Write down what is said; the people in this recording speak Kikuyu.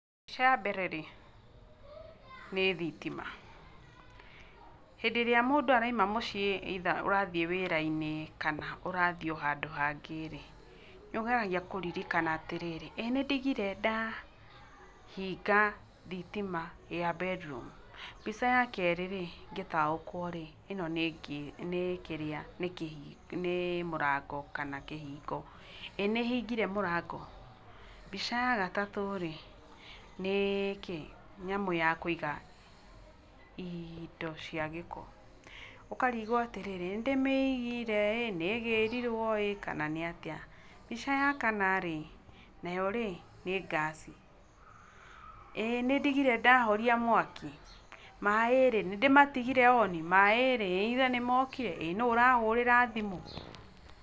Kĩa mbere rĩ nĩ thitima, hĩndĩ ĩrĩa mũndũ araũma mũciĩ either ũrathiĩe wĩrainĩ kana ũrathiĩ ohandũ hangĩ rĩ nĩũgetharia kũririkana atĩrĩrĩ ,ĩĩ nĩndigire ndahinga thitima ya bedroom?,mbica ye kerĩ rĩ ngĩtaũkwa rĩ ĩno nĩnĩ mũrango kana kĩhingo, ĩĩ nĩhingire mũrango?,mbica ya gatatũ rĩ nĩnyamũ ya kũiga indo cia gĩko ũkarĩgwa atĩrĩrĩ, nĩ ndĩmĩigire ĩĩ?,nĩgĩrirwe ĩĩ? kana nĩatia, mbica cia ya kana rĩ nayo rĩ nĩ ngaci, ĩĩ nĩndigire ndahoria mwaki? maĩ rĩ nĩndĩmatigire on?maĩ rĩ either nĩmokire, ĩĩ nũu arahũrĩra thimũ?.